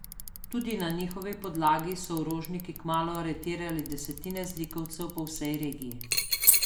Tudi na njihovi podlagi so orožniki kmalu aretirali desetine zlikovcev po vsej regiji.